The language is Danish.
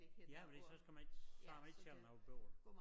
Ja fordi så skal man ikke så har man ikke selv noget bøvl